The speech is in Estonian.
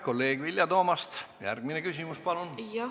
Kolleeg Vilja Toomast, järgmine küsimus, palun!